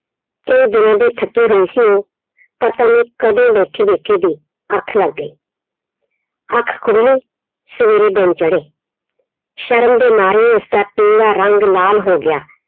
ਕਈ ਦਿਨਾਂ ਦੇ ਥੱਕੇ ਹੋਏ ਸੀ ਉਹ ਪਤਾ ਨੀ ਕਦੋਂ ਬੈਠੇ ਬੈਠੇ ਦੀ ਅੱਖ ਲੱਗ ਗਈ ਅੱਖ ਖੁੱਲ੍ਹੀ ਸਵੇਰੇੇ ਦਿਨ ਚੜੇ, ਸ਼ਰਮ ਦੇ ਮਾਰੇ ਉਹਦਾ ਰੰਗ ਲਾਲ ਹੋ ਗਿਆ।